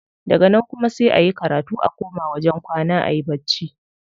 Daga nan kuma sai a yi karatu a koma wajen kwana ayi bacci.